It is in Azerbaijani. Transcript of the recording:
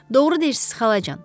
Doğru deyirsiz xalacan.